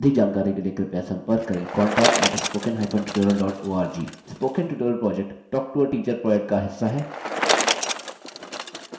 वे उनको प्रमाणपत्र भी देते हैं जो ऑनलाइन टेस्ट पास करते हैं अधिक जानकारी के लिए कृपया संपर्क करें contact at spoken hypen tutorial dot org